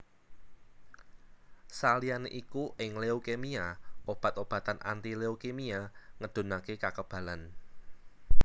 Saliyané iku ing leukemia obat obatan anti leukimia ngedhunaké kakebalan